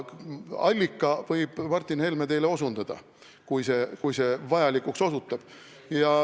Allikale võib Martin Helme osutada, kui see vajalikuks osutub.